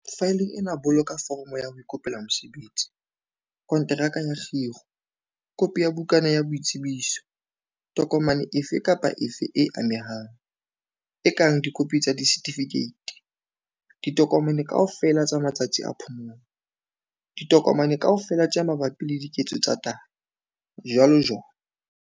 Faeleng ena boloka foromo ya ho ikopela mosebetsi, konteraka ya kgiro, kopi ya bukana ya boitsebiso, tokomane efe kapa efe e amehang, e kang dikopi tsa disertifikeiti, ditokomane kaofela tsa matsatsi a phomolo, ditokomane kaofela tse mabapi le diketso tsa tayo, jwalojwalo.